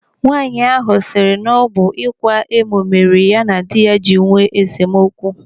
Nwaanyị ahụ siri na ọ bụ ịkwa emo mere ya na diya jiri nwee esemokwu.